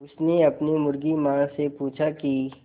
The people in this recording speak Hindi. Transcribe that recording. उसने अपनी मुर्गी माँ से पूछा की